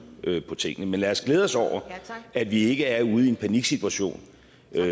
på tingene men lad os glæde os over at vi ikke er ude i en paniksituation